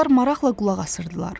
Onlar maraqla qulaq asırdılar.